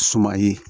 Suma ye